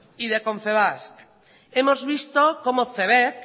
y de confebask hemos visto como cebek